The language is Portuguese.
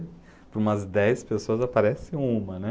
Para umas dez pessoas aparece uma, né.